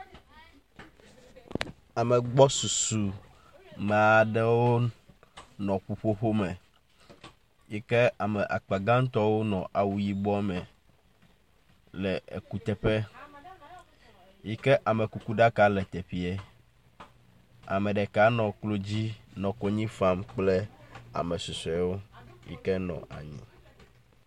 Ame gbɔsusu me aɖewo nɔ ƒuƒoƒo me yike ame akpa gãtɔ nɔ awu yibɔ me le ekuteƒe yike amekuku ɖaka le teƒee. Ame ɖeka nɔ klo dzi nɔ konyi fam kple ame susɔewo yike nɔ anyi.